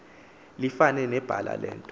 lifane nebala lento